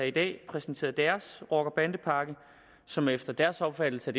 i dag præsenteret deres rocker og bandepakke som efter deres opfattelse